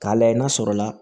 K'a layɛ n'a sɔrɔ la